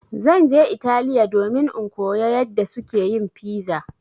Zan je Italiya domin in koya yadda suke yin piza.